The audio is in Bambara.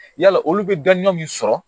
Yala olu bɛ dɔnniya min sɔrɔ